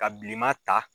Ka bilenma ta